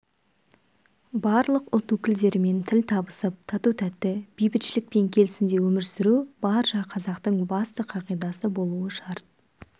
барлық ұлт өкілдерімен тіл табысып тату-тәтті бейбітшілік пен келісімде өмір сүру барша қазақтың басты қағидасы болуы шарт